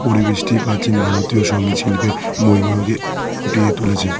পরিবেশটি প্রাচীন ভারতীয় সংগীত শিল্পের মহিমাকে ফুটিয়ে তুলেছে।